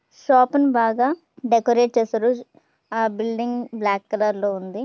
Shop ను బాగా decorate చేశారు. ఆ బిల్డింగ్ బ్లాక్ కలర్ లో ఉంది.